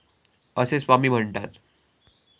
असे स्वामी म्हणतात.